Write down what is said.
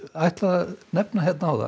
ætlaði að nefna hérna áðan